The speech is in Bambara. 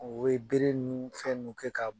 U bɛ bere ninnu ni fɛnw kɛ k'a bugɔ.